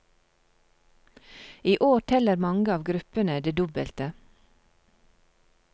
I år teller mange av gruppene det dobbelte.